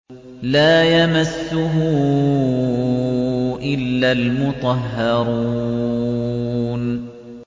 لَّا يَمَسُّهُ إِلَّا الْمُطَهَّرُونَ